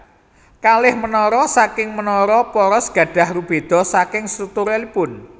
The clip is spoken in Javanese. Kalih menara saking menara poros gadah rubeda saking strukturalipun